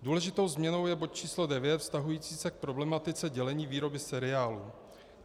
Důležitou změnou je bod číslo 9 vztahující se k problematice dělení výroby seriálů.